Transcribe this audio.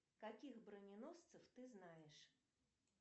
каких броненосцев ты знаешь